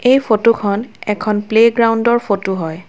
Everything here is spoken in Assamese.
এই ফটো খন এখন প্লেগ্ৰাউণ্ডৰ ফটো হয়।